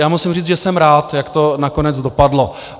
Já musím říct, že jsem rád, jak to nakonec dopadlo.